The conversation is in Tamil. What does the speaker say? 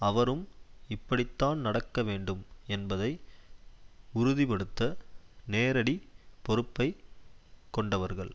அவரும் இப்படித்தான் நடக்க வேண்டும் என்பதை உறுதிபடுத்த நேரடி பொறுப்பை கொண்டவர்கள்